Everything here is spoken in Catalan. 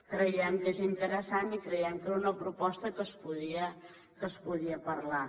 creiem que és interessant i creiem que era una proposta que es podia parlar